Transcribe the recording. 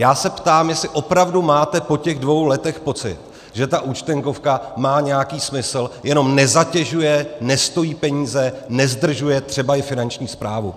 Já se ptám, jestli opravdu máte po těch dvou letech pocit, že ta Účtenkovka má nějaký smysl, jenom nezatěžuje, nestojí peníze, nezdržuje třeba i Finanční správu.